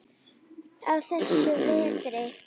á þessum vetri.